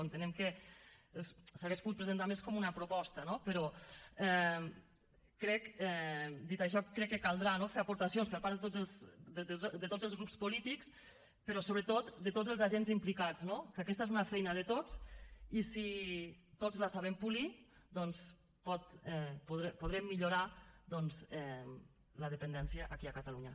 entenem que s’hauria pogut presentar més com una proposta no però crec dit això que caldrà no fer aportacions per part de tots els grups polítics però sobretot de tots els agents implicats no que aquesta és una feina de tots i si tots la sabem polir doncs podrem millorar la dependència aquí a catalunya